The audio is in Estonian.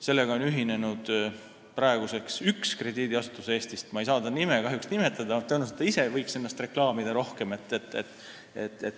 Sellega on praeguseks ühinenud üks Eesti krediidiasutus, mille nime ma kahjuks ei saa nimetada, ta võiks ise ennast rohkem reklaamida.